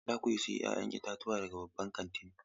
Za ku sayi 'ya'yan itatuwa daga babban kantin?